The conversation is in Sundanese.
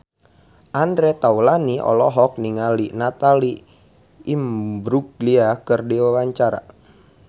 Andre Taulany olohok ningali Natalie Imbruglia keur diwawancara